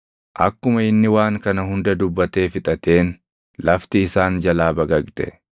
Akkuma inni waan kana hunda dubbatee fixateen lafti isaan jalaa baqaqxe;